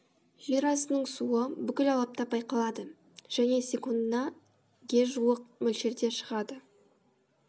жер астының суы бүкіл алапта байқалады және секундына л ге жуық мөлшерде шығады